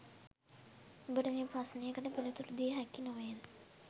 ඔබට මේ ප්‍රශ්නකට පිළිතුරු දිය හැකි නොවේද